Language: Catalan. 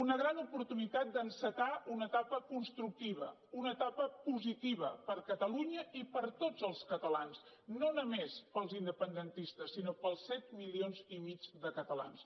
una gran oportunitat d’encetar una etapa constructiva una etapa positiva per a catalunya i per a tots els catalans no només per als independentistes sinó per als set milions i mig de catalans